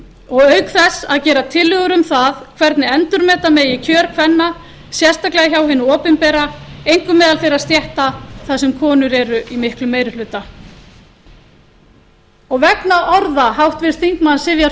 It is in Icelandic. og auk þess að gera tillögur um það hvernig endurmeta megi kjör kvenna sérstaklega hjá hinu opinbera einkum meðal þeirra stétta þar sem konur eru í miklum meiri hluta vegna orða háttvirts þingmanns sivjar